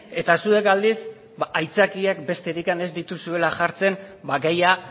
eta zuek aldiz aitzakiak besterik ez dituzuela jartzen gaia